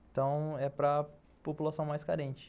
Então, é para população mais carente.